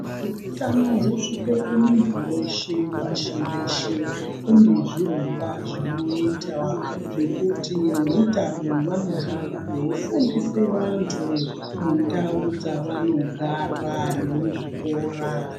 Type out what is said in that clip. Kuti utano husvike kumuntu weshe pashi reshe kune zviro zvinoitwa zvekuti veutano vanohamba veifundisa vantu mundau dzavanogara nemuzvikora.